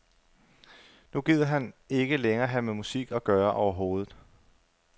Nu gider han ikke længere have med musik at gøre overhovedet.